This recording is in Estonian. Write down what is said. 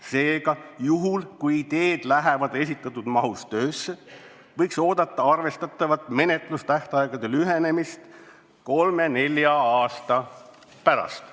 Seega, juhul, kui teed lähevad esitatud mahus töösse, võiks oodata arvestatavat menetlustähtaegade lühenemist kolme-nelja aasta pärast.